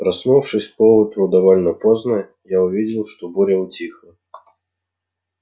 проснувшись поутру довольно поздно я увидел что буря утихла